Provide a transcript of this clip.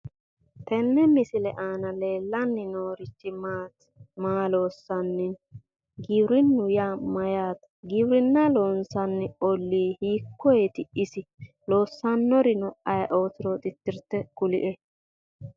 Tenne misile aana leellanni noorichi maati? maa loossanni no? Giwirinnu yaa mayyaate? giwirinna loonsanni olli hikkoyeeti isi? Loossannorino ayeeootiro tittirte kulie.